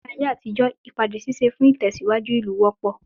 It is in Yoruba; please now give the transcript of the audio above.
Ní ayé àtijó, ìpàdé ṣíṣe fún ìtẹ̀síwájú ìlú wọ́pọ̀.